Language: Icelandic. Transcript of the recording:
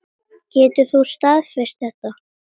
Getur þú staðfest þetta?